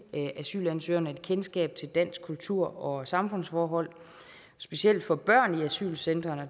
asylansøgerne et kendskab til dansk kultur og samfundsforhold specielt for børn i asylcentrene